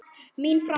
Mín framtíð?